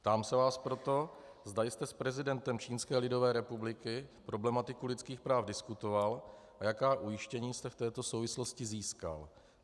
Ptám se vás proto, zda jste s prezidentem Čínské lidové republiky problematiku lidských práv diskutoval a jaká ujištění jste v této souvislosti získal.